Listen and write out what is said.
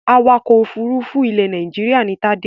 Awakọ̀ òfurufú ilẹ̀ Nàìjíríà ni Tádé.